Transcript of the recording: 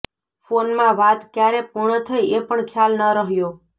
ફોનમાં વાત ક્યારે પૂર્ણ થઈ એ પણ ખ્યાલ ન રહ્યો